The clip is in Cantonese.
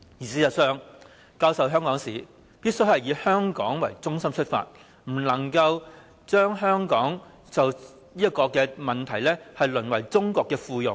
事實上，教授香港史必須以香港為中心，不可以在這問題上讓香港淪為中國的附庸。